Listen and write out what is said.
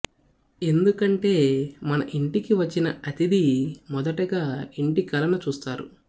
ఎందుకంటే మన ఇంటికి వచ్చిన అతిథి మొదటగా ఇంటి కళను చూస్తారు